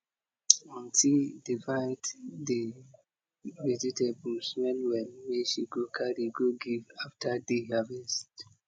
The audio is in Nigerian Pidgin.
auntie divide de vegetables well well wey she go carry go give after de harvest